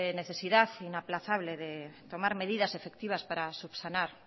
necesidad inaplazable de tomar medidas efectivas para subsanar